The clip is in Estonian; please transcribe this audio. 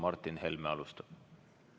Martin Helme alustab.